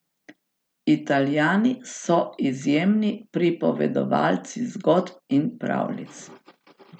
Italijani so izjemni pripovedovalci zgodb in pravljic.